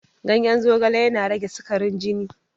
Ganyen zogala yana rage sikarin jini.